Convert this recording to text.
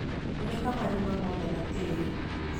Kunĩka marima moothe na tĩĩri.